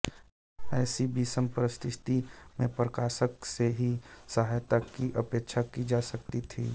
ऐसी विषम परिस्थिति में प्रकाशक से ही सहायता की अपेक्षा की जा सकती थी